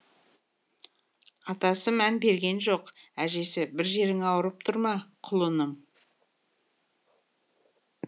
атасы мән берген жоқ әжесі бір жерің ауырып тұр ма құлыным